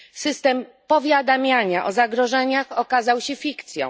System powiadamiania o zagrożeniach okazał się fikcją.